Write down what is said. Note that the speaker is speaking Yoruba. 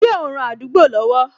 Ṣé o n ran àdúgbò lọ́wọ́